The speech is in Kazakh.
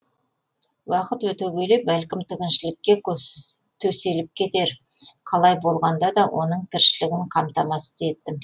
уақыт өте келе бәлкім тігіншілікке төселіп кетер қалай болғанда да оның тіршілігін қамтамасыз еттім